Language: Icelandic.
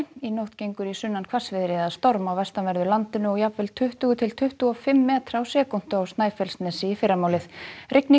í nótt gengur í sunnan hvassviðri eða storm á vestanverðu landinu og jafnvel tuttugu til tuttugu og fimm metra á sekúndu á Snæfellsnesi í fyrramálið rigning